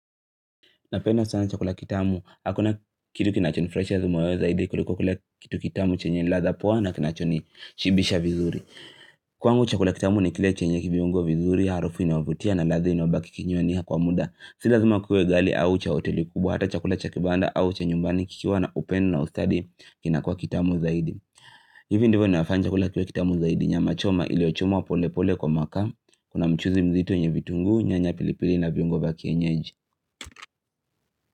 Napenda sana chakula kitamu. Hakuna kitu kinacho nifuraisha moyo zaidi kuliko kula kitu kitamu chenye ladha poa na kinachonishibisha vizuri. Kwangu chakula kitamu ni kile chenye vyungo vizuri harufu inaovutia na ladha inayobaki kinywaniha kwa muda. Si lazima kuwe ugali au cha hoteli kubwa. Hata chakula cha kibanda au cha nyumbani kikiwa na upenu na ustadi kinakua kitamu zaidi. Hivi ndivyo nafanya chakula kiwe kitamu zaidi nyama choma iliochomwa pole pole kwa makaa. Kuna mchuzi mzito yenye vitunguu, nyanya pilipili na vyungo vya kienyeji.